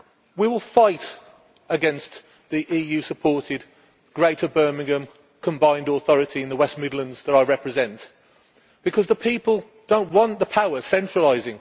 We will fight against the EU supported Greater Birmingham combined authority in the West Midlands that I represent because the people do not want the power to be centralised.